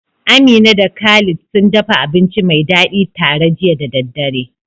Amina da Khalid sun dafa abinci mai dadi tare jiya da daddare.